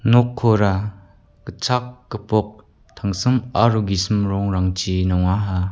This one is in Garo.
nokkora gitchak gipok tangsim aro gisim rongrangchi nongaha.